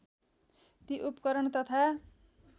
ती उपकरण तथा